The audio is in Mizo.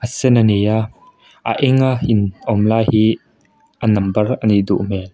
sen a ni a a enga in awm lai hi a nambar a nih duh hmel.